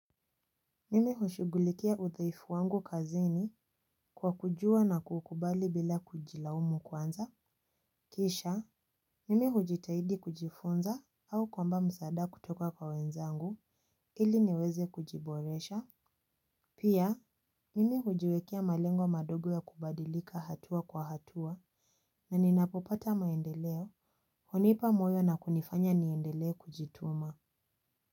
Mimi hushugulikia udhaifu wangu kazini kwa kujua na kukubali bila kujilaumu kwanza. Kisha, mimi hujitahidi kujifunza au kuomba msaada kutoka kwa wenzangu ili niweze kujiboresha. Pia, mimi hujiwekea malengo madogo ya kubadilika hatua kwa hatua na ninapopata maendeleo hunipa moyo na kunifanya niendelee kujituma Muzika.